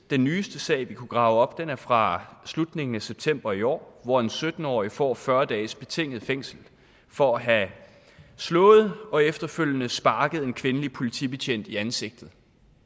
den nyeste sag vi kunne grave op er fra slutningen af september i år hvor en sytten årig får fyrre dages betinget fængsel for at have slået og efterfølgende sparket en kvindelig politibetjent i ansigtet